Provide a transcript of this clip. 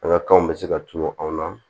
An ka kanw bɛ se ka tunun anw na